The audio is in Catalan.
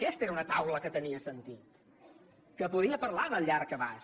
aquesta era una taula que tenia sentit que podia parlar del llarg abast